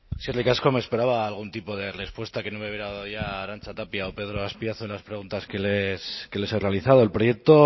eskerrik asko me esperaba algún tipo de respuesta que no me hubiera dado ya arantza tapia o pedro azpiazu en las preguntas que les he realizado el proyecto